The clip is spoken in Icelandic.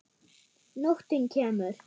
Nóttin kemur.